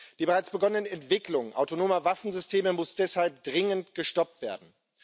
Die bereits begonnene Entwicklung autonomer Waffensysteme muss deshalb dringend gestoppt werden.